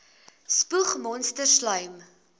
spoeg monsters slym